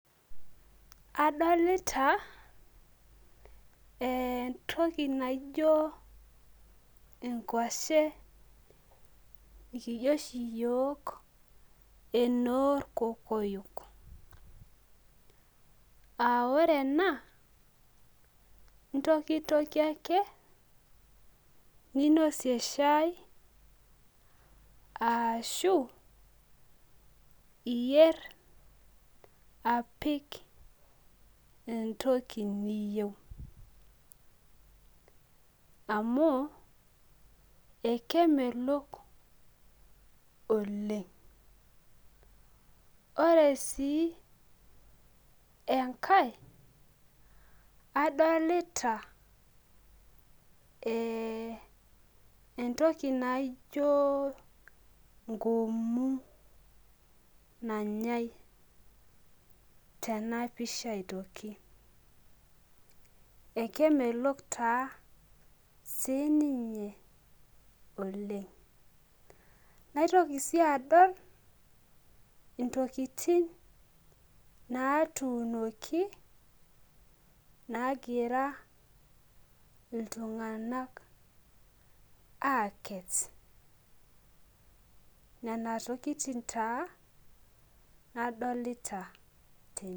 Adolita entoki naijo enkwashe ekijo oshi yiok enorkokoyo aa ore ena intokitikie ake ninosie shai ashu ipik entoki niyieu amu ekemelok oleng ore si enkae adolita entoki naijo nkumu nanyae tenapisha aitoki akemelok taa sininge oleng naitoki adol ntokitin natuunoki nagira ltunganak akes nona tokitin na adolita tene.